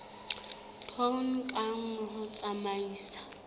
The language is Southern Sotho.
tone ka nngwe ho tsamaisa